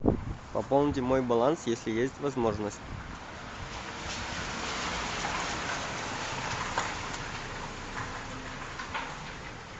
пополните мой баланс если есть возможность